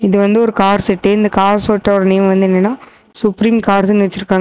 இது வந்து ஒரு கார் செட்டு இந்த கார் செட்டோட நேம் வந்து என்னன்னா சுப்ரீம் கார்ஸ்னு வச்சுருக்காங்க.